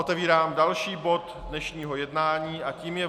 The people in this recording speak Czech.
Otevírám další bod dnešního jednání a tím je